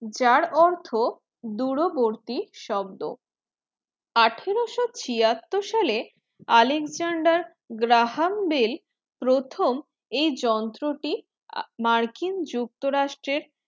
যার অর্থ দূরবর্তী শব্দ আঠারোশো ছিয়াওর সালে Alexender Graham Bell প্রথম এই যন্ত্রটি মার্কিন যুক্ত রাষ্ট্রের